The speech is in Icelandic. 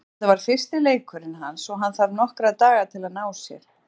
Þetta var fyrsti leikurinn hans og hann þarf nokkra daga til að ná sér.